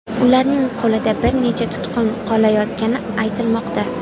Ularning qo‘lida bir necha tutqun qolayotgani aytilmoqda.